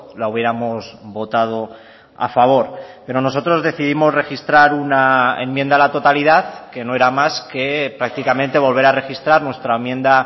la hubiéramos votado a favor pero nosotros decidimos registrar una enmienda a la totalidad que no era más que prácticamente volver a registrar nuestra enmienda